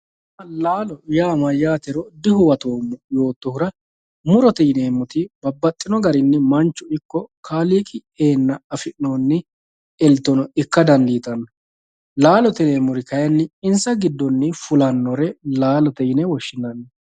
Laalo laalo yaa mayatero dihuwatomo yootohura murote yineena mitto muro yinaniti babaxitino kaaliqi eena afinoni eltono ikka danditano laalote yinemori kayini insa gidoni fulanore laalote yine woshinani